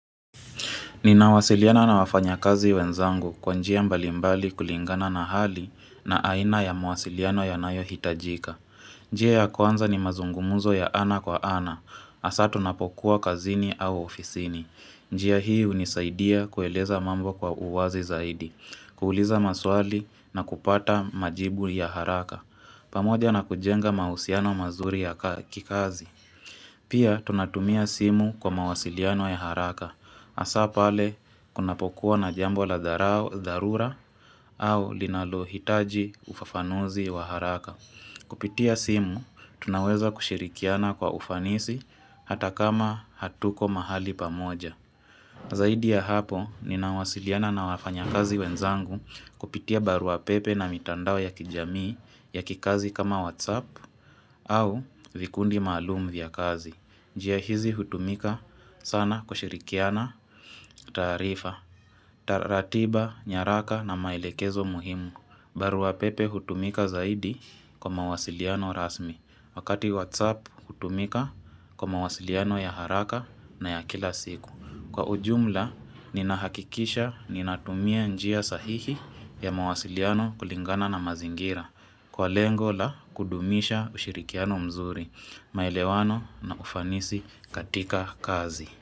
Ninawasiliana na wafanyakazi wenzangu kwa njia mbalimbali kulingana na hali na aina ya mawasiliano yanayohitajika. Njia ya kwanza ni mazungumuzo ya ana kwa ana, asa tunapokuwa kazini au ofisini. Njia hii unisaidia kueleza mambo kwa uwazi zaidi, kuuliza maswali na kupata majibu ya haraka. Pamoja na kujenga mausiano mazuri ya kikazi. Pia tunatumia simu kwa mawasiliano ya haraka. Asapale kunapokuwa na jambo la dharura au linalohitaji ufafanuzi wa haraka. Kupitia simu, tunaweza kushirikiana kwa ufanisi hata kama hatuko mahali pamoja. Zaidi ya hapo, ninawasiliana na wafanyakazi wenzangu kupitia baruapepe na mitandao ya kijamii ya kikazi kama whatsapp au vikundi malum vya kazi. Njia hizi hutumika sana kushirikiana tarifa, taratiba, nyaraka na maelekezo muhimu. Baruapepe hutumika zaidi kwa mawasiliano rasmi. Wakati Whatsapp hutumika kwa mawasiliano ya haraka na ya kila siku. Kwa ujumla, ninahakikisha ninatumia njia sahihi ya mawasiliano kulingana na mazingira. Kwa lengo la kudumisha ushirikiano mzuri, maelewano na ufanisi katika kazi.